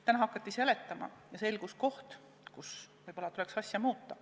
Täna hakati seletama ja selgus koht, mida võib-olla tuleks muuta.